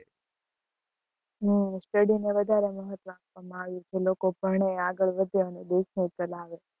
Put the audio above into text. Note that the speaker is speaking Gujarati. હમ study ને વધારે મહત્વ આપવા માં આવ્યું છે લોકો ભણે અને આગળ વધે અને દેશ ને ચલાવે.